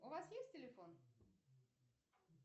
у вас есть телефон